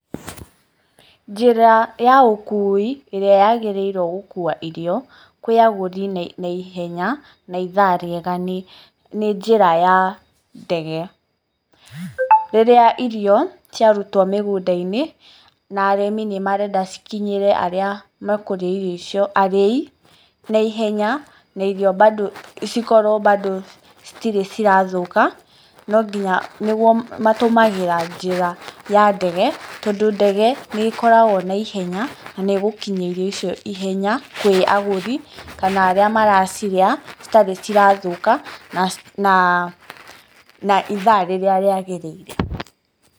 Njĩra ya ũkui ĩrĩa yagĩrĩirwo gũkua irio, kwĩ agũri na ihenya na ithaa rĩega nĩ njĩra ya ndege. Rĩrĩa irio ciarutwo mĩgũnda-inĩ na arĩmi nĩ marenda cikinyĩre arĩa mekũrĩa irio icio, arĩi na ihenya, na irio mbando cikorwo mbando citirĩ cirathũka matũmagĩra njĩra ya ndege, tondũ ndege nĩĩkoragwo na ihenya, na nĩĩgũkinyia irio icio ihenya kwĩ agũri, kana arĩa maracirĩa citarĩ cirathũka na ithaa rĩrĩa rĩagĩrĩire.